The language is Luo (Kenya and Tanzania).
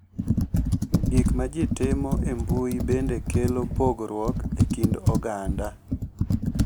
Gik ma ji timo e mbui bende kelo pogruok e kind oganda.